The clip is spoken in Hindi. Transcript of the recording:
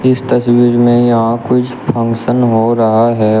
इस तस्वीर में यहां कुछ फंक्शन हो रहा है।